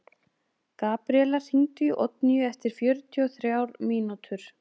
Gabríella, hringdu í Oddnýju eftir fjörutíu og þrjár mínútur.